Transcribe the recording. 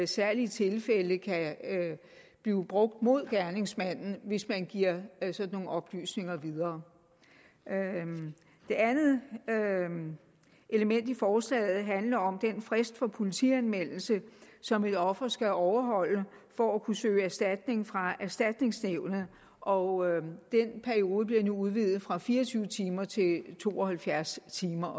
særlige tilfælde kan blive brugt mod gerningsmanden hvis man giver sådan nogle oplysninger videre det andet element i forslaget handler om den frist for politianmeldelse som et offer skal overholde for at kunne søge erstatning fra erstatningsnævnet og den periode bliver nu udvidet fra fire og tyve timer til to og halvfjerds timer